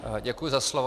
Děkuji za slovo.